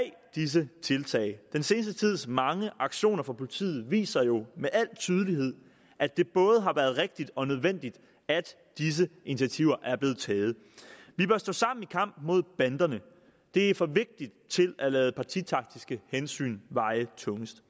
disse tiltag den seneste tids mange aktioner fra politiet viser jo med al tydelighed at det både har været rigtigt og nødvendigt at disse initiativer er blevet taget vi bør stå sammen i kampen mod banderne det er for vigtigt til at lade partitaktiske hensyn veje tungest